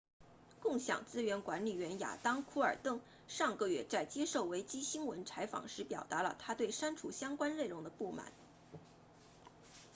共享资源管理员亚当库尔登 adam cuerden 上个月在接受维基新闻 wikinews 采访时表达了他对删除相关内容的不满